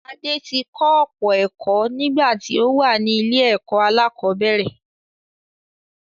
Adé ti kọ́ ọ̀pọ̀ ẹ̀kọ́ nígbà tí ó wà ní ilé-ẹ̀kọ́ aláàkọ́bẹ̀rẹ̀